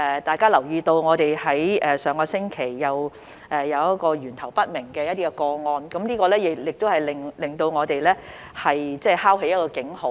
大家也留意到，本港上星期又有一宗源頭不明個案，這敲起了一個警號。